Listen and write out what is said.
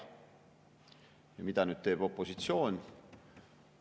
Ja mida nüüd teeb opositsioon?